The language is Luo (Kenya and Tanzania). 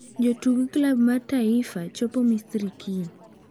Jotuk klab mar Taifa chopo Misri kiny